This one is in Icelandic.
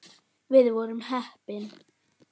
Við vorum heppni.